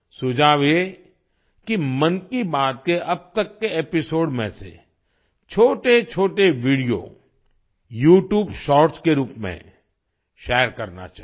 सुझाव ये कि मन की बात के अब तक के एपिसोड में से छोटेछोटे वीडियो यूट्यूब शॉर्ट्स के रूप में शेयर करना चाहिए